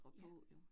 Ja